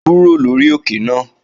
Kúrò lórí òkè náà!